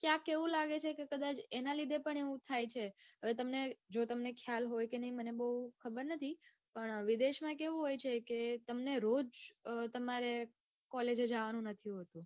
કે આ કેવું લાગે છે કે કદાચ એના લીધે પણ એવું થાય છે હવે તમને જો તમને ખ્યાલ હોય કે નઈ મને બઉ ખબર નથી પણ વિદેશમાં કેવું હોય છે કે તમને રોજ તમારે college જાવાનું નથી હોતું.